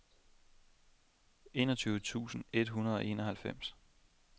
enogtyve tusind et hundrede og enoghalvfems